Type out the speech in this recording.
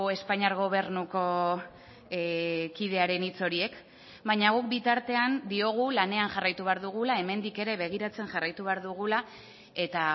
espainiar gobernuko kidearen hitz horiek baina guk bitartean diogu lanean jarraitu behar dugula hemendik ere begiratzen jarraitu behar dugula eta